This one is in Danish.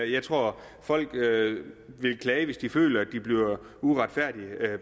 jeg tror at folk vil klage hvis de føler at de bliver uretfærdigt